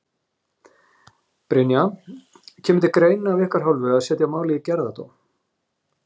Brynja: Kemur til greina af ykkar hálfu að setja málið í gerðardóm?